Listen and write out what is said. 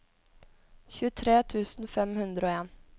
tjuetre tusen fem hundre og en